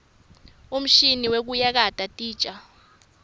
umshini wekuyakata titja